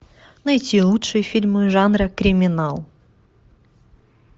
найти лучшие фильмы жанра криминал